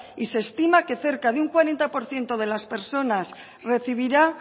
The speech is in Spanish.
y se estima que cerca de un cuarenta por ciento de las personas recibirá